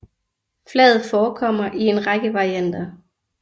Flaget forekommer i en række varianter